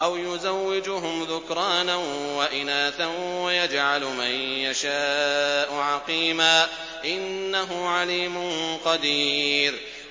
أَوْ يُزَوِّجُهُمْ ذُكْرَانًا وَإِنَاثًا ۖ وَيَجْعَلُ مَن يَشَاءُ عَقِيمًا ۚ إِنَّهُ عَلِيمٌ قَدِيرٌ